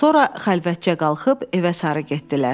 Sonra xəlvətcə qalxıb evə sarı getdilər.